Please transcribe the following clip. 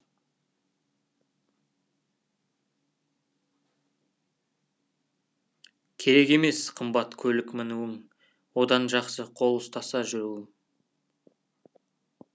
керек емес қымбат көлік мінуің одан жақсы қол ұстаса жүруім